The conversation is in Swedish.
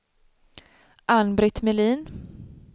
Ann-Britt Melin